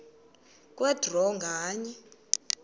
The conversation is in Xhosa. kwe draw nganye